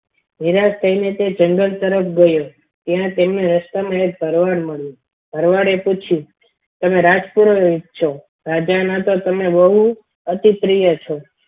નિરાશ થઈને તે જંગલ તરફ ગયો ત્યાં તેમને રસ્તામાં એક ભરવાડ મળ્યો ભરવાડ એ પૂછ્યું તમે રાજ એ જ છો રાજા ના તો તમે બહુ અતિ પ્રિય છો.